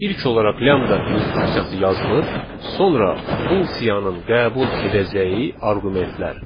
İlk olaraq lambda instruksiyası yazılır, sonra funksiyanın qəbul edəcəyi arqumentlər.